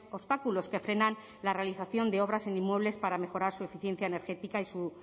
obstáculos que frenan la realización de obras en inmuebles para mejorar su eficiencia energética y su